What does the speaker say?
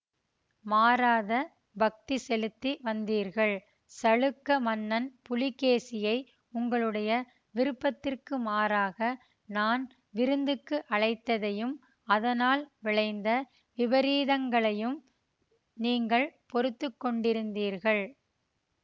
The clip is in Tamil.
மாறாத பக்தி செலுத்தி வந்தீர்கள் சளுக்க மன்னன் புலிகேசியை உங்களுடைய விருப்பத்திற்கு மாறாக நான் விருந்துக்கு அழைத்ததையும் அதனால் விளைந்த விபரீதங்களையும் நீங்கள் பொறுத்து கொண்டிருந்தீர்கள்